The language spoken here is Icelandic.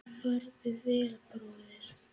Farðu vel, bróðir og vinur.